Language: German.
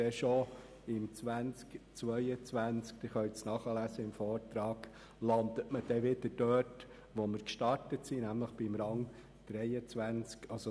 Aber wie Sie im Vortrag nachlesen können, landet der Kanton bereits im Jahr 2022 dann wieder dort, wo er begonnen hat, nämlich auf Rang 23.